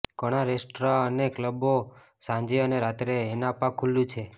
ઘણાં રેસ્ટોરાં અને ક્લબો સાંજે અને રાત્રે ઍનાપા ખુલ્લું છે